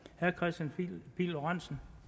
det